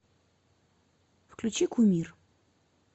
включи кумир